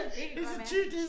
Det kan godt være